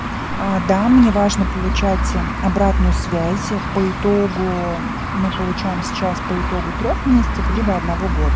а да мне важно получать обратную связь по итогу мы получаем сейчас по итогу трёх месяцев либо одного года